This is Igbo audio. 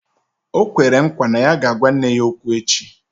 O kwere nkwa na ya ga-agwa nne ya okwu echi